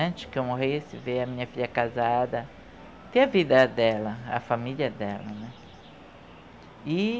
Antes que eu morresse, ver a minha filha casada, ter a vida dela, a família dela, né. E